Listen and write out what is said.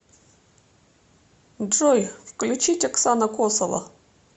джой включить оксана косова